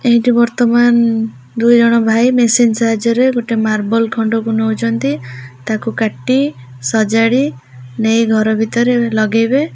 ଏହିଟି ବର୍ତମାନ ଦୁଇଜଣ ଭାଇ ମିସିନ୍ ସାହାଯ୍ୟ ରେ ଗୋଟେ ମାର୍ବଲ ଖଣ୍ଡ କୁ ନୋଉଚନ୍ତି ତାକୁ କାଟି ସଜାଡି ନେଇ ଘର ଭିତରେ ଲଗେଇବେ --